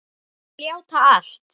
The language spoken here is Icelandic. Ég skal játa allt.